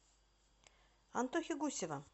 антохи гусева